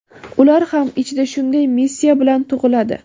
ular ham ichida shunday missiya bilan tug‘iladi.